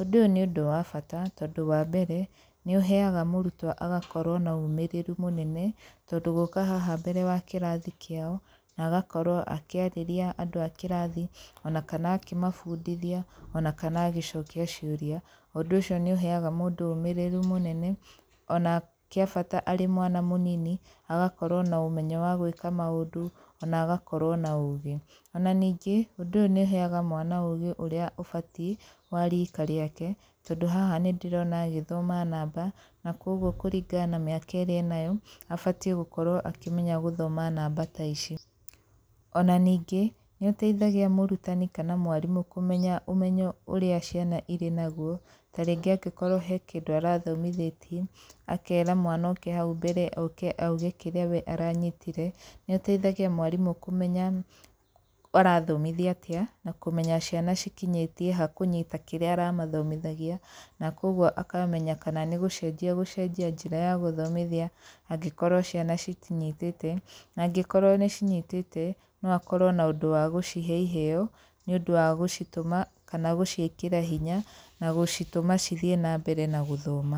Ũndũ ũyũ nĩ ũndũ wa bata, tondũ wa mbere, nĩ ũheaga mũrutwo agakorwo na ũmĩrĩru mũnene, tondũ gũka haha mbere wa kĩrathi kĩao, na agakorwo akĩarĩria andũ a kĩrathi, ona kana akĩmabundithia, ona kana agĩcokia ciũria, ũndũ ũcio nĩ ũheaga mũndũ ũmĩrĩru mũnene, ona kĩa bata arĩ mwana mũnini, agakorwp na ũmenyo wa gwĩka maũndũ, ona agakorwo na ũũgĩ. Ona ningĩ, ũndũ ũyũ nĩ ũheaga mwana ũũgĩ ũrĩa ũbatiĩ wa riika rĩake. Tondũ haha nĩ ndĩrona agĩthoma namba, na kũguo kũringana na mĩaka ĩrĩa enayo, abatiĩ gũkorwo akĩmenya gũthoma namba ta ici. Ona ningĩ, nĩ ũteithagia mũrutani kana mwarimũ kũmenya ũmenyo ũrĩa ciana irĩ naguo, tarĩngĩ angĩkorwo he kĩndũ arathomithĩtie, akera mwana oke hau mbere oke auge kĩrĩa we aranyitire, nĩ ũteithagia mwarimũ kũmenya arathomithia atĩa, na kũmenya ciana cikinyĩtie ha kũnyita kĩrĩa aramathomithagia, na kũguo akamenya kana nĩ gũcenjia agũcenjia njĩra ya gũthomithia angĩkorwo ciana citinyitĩte. Na angĩkorwo nĩ cinyitĩte, no akorwo na ũndũ wa gũcihe iheeo, nĩ ũndũ wa gũcitũma kana gũciĩkĩra hinya na gũcitũma cithiĩ na mbere na gũthoma.